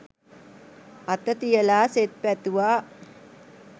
අත තියලා සෙත් පැතුවා.